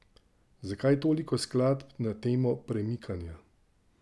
Zakaj toliko skladb na temo premikanja?